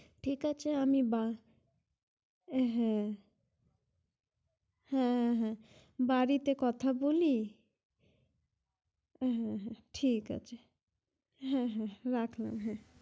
ঠিক আছে আমি হ্যাঁ! হ্যাঁ! হ্যাঁ! বাড়িতে কথা বলি । হ্যাঁ! হ্যাঁ! ঠিক আছে । হ্যাঁ! হ্যাঁ! রাখলাম হ্যাঁ!